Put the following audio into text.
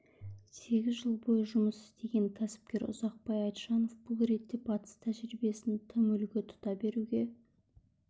сегіз жыл бойы жұмыс істеген кәсіпкер ұзақбай айтжанов бұл ретте батыс тәжірибесін тым үлгі тұта беруге